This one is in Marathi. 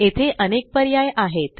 येथे अनेक पर्याय आहेत